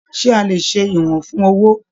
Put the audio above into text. Ṣe a lè ṣe ìwọ̀n fún owó?